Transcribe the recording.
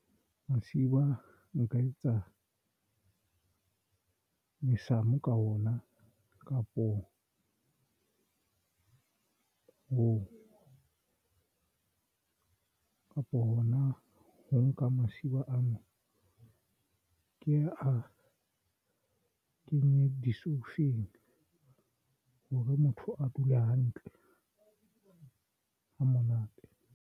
Masiba nka etsa mesamo ka ona kapo for ho kapo hona ho nka masiba ano. Ke a kenye disoufeng hore motho a dule hantle ha monate.